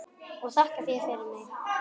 Og þakka þér fyrir mig.